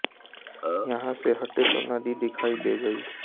यहाँ से हटे तो नदी दिखाई दे गई